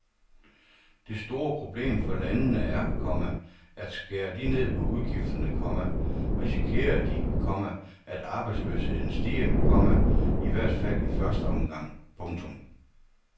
Det store problem for landene er, komma at skærer de ned på udgifterne, komma risikerer de, komma at arbejdsløsheden stiger, komma i hvert fald i første omgang. punktum